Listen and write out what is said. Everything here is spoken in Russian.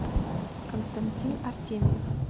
константин артемьев